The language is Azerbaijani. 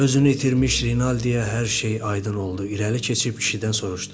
Özünü itirmiş Rinaldiyə hər şey aydın oldu, irəli keçib kişidən soruşdu.